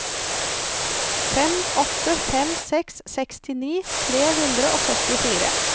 fem åtte fem seks sekstini tre hundre og syttifire